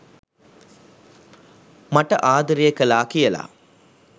මට ආදරය කළා කියලා